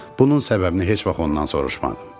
Bunun səbəbini heç vaxt ondan soruşmadım.